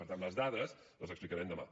per tant les dades les explicarem demà